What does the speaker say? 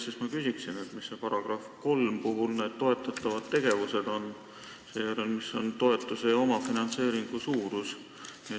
Seega ma küsin, mis on § 3 puhul need toetatavad tegevused ning mis on toetuse ja omafinantseeringu suurus.